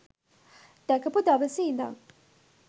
දැකපු දවසෙ ඉඳන්